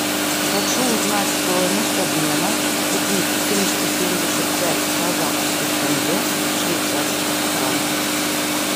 хочу узнать стоимость обмена купив триста семьдесят пять казахских тенге в швейцарских франках